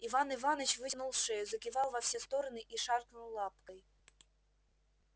иван иваныч вытянул шею закивал во все стороны и шаркнул лапкой